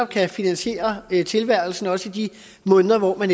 kan finansiere tilværelsen også i de måneder hvor man